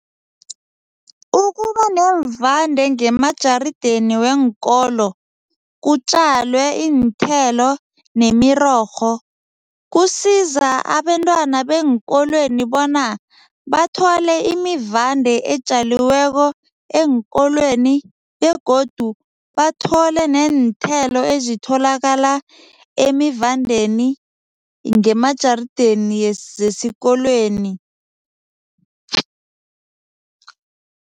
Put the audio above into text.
Ukuba neemvande ngemajarideni weenkolo, kutjalwe iinthelo nemirorho, kusiza abentwana beenkolweni bona bathole imivande etjaliweko eenkolweni begodu bathole neenthelo ezitholakala emivandeni ngemajarideni zesikolweni.